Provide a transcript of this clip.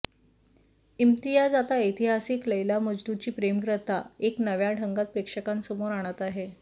इम्तियाज आता ऐतिहासिक लैला मजनूची प्रेमकथा एका नव्या ढंगात प्रेक्षकांसमोर आणत आहे